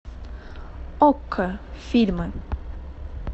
окко фильмы